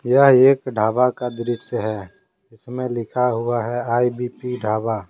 यह एक ढाबा का दृश्य है। जिसमे लिखा हुआ है आई_बी_पी ढाबा ।